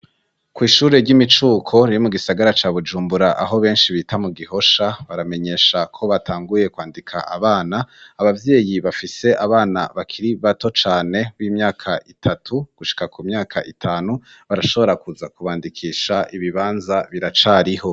Kw'ishure ry'imicuko riri mu gisagara ca Bujumbura, aho benshi bita mu Gihosha, baramenyesha ko batanguye kwandika abana; ababyeyi bafise abana bakiri bato cane b'imyaka itatu gushika ku myaka itanu barashobora kuza kubandikisha ibibanza biracariho.